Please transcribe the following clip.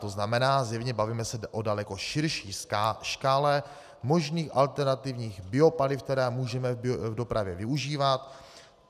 To znamená, zjevně se bavíme o daleko širší škále možných alternativních biopaliv, která můžeme v dopravě využívat.